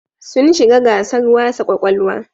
Sun shiga gasar wasa ƙwaƙwalwa.